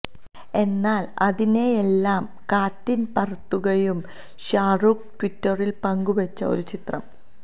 എന്നാൽ അതിനെയെല്ലാം കാറ്റിൽ പറത്തുകയാണ് ഷാരൂഖ് ട്വിറ്ററിൽ പങ്ക് വെച്ച ഒരു ചിത്രം